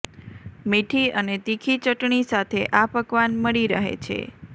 મીઠી અને તીખી ચટણી સાથે આ પકવાન મળી રહે છે